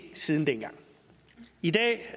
siden dengang i dag